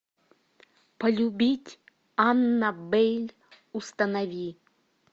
полюбить аннабель установи